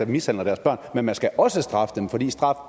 mishandler deres børn er man skal også straffe dem fordi straf